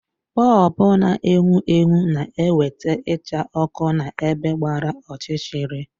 Bọlbụ na-enwu enwu na ewete icha òkù na-ebe gbara ọchịchịrị.